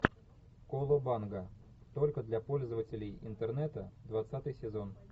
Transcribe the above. колобанга только для пользователей интернета двадцатый сезон